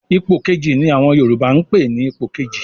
"Ipò Kejì" ni àwọn Yorùbá ń pè ní Ipò kejì